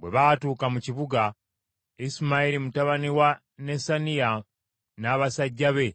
Bwe baatuuka mu kibuga, Isimayiri mutabani wa Nesaniya n’abasajja be